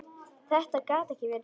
Þetta gat ekki verið rétt.